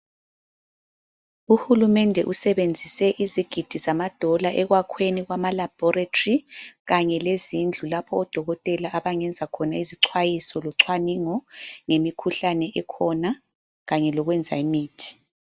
Uhulumende usebenzise izigidi zama dola ekwakhiweni kwama laboratory kanye lezindlu lapho odokotela abangenza khona isicwayiso lochwaningo ngemikhuhlane ekhona Kanye lokwenza imithi.